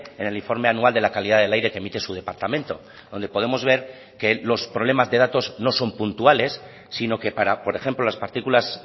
en el informe anual de la calidad del aire que emite su departamento donde podemos ver que los problemas de datos no son puntuales sino que para por ejemplo las partículas